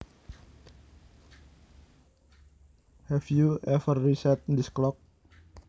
Have you ever reset this clock